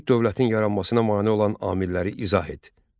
Vahid dövlətin yaranmasına mane olan amilləri izah et.